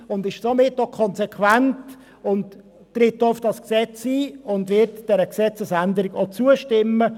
Sie ist somit auch konsequent, tritt auf das Gesetz ein und wird der Gesetzesänderung auch zustimmen.